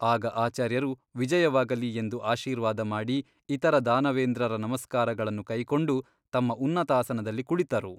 ಆಗ ಆಚಾರ್ಯರು ವಿಜಯವಾಗಲಿ ಎಂದು ಆಶೀರ್ವಾದ ಮಾಡಿ ಇತರ ದಾನವೇಂದ್ರರ ನಮಸ್ಕಾರಗಳನ್ನು ಕೈಕೊಂಡು ತಮ್ಮ ಉನ್ನತಾಸನದಲ್ಲಿ ಕುಳಿತರು.